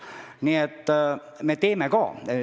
Nii et me midagi ikka teeme ka.